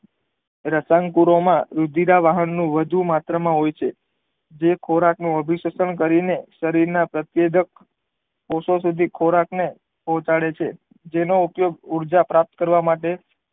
રસાયણ કુરો માં વીઘીરાવાહન નું વધુ માત્ર માં હોય છે જે ખોરાક ન અભિશતન કરી ને શરીર ના પ્રતેયગન પોશાકો સીધી ખૉરાક નું પોહચાડે છે જેનો ઉપયોગ ઉર્જા પ્રાપ્ત કરવા માટે